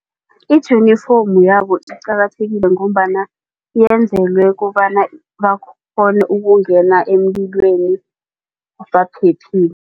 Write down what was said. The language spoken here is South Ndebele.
Ijinifomu yabo iqakathekile ngombana yenzelwe kobana bakghone ukungena emlilweni baphephile.